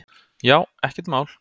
Já, ekkert mál!